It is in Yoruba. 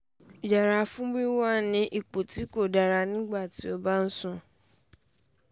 yẹra fún wíwà ní ipò tí kò dára nígbà tí o bá ń sùn